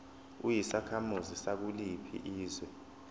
uyisakhamuzi sakuliphi izwe